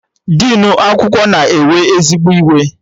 Dinu akwụkwọ nọ na-ewe ezigbo iwe